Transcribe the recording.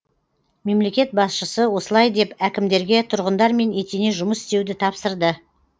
мемлекет басшысы осылай деп әкімдерге тұрғындармен етене жұмыс істеуді тапсырды